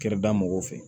Kɛrɛda mɔgɔw fɛ